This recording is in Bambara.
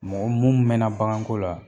Mɔgɔ mun mɛn na bagan ko la.